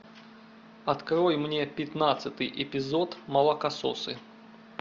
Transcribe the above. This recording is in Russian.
открой мне пятнадцатый эпизод молокососы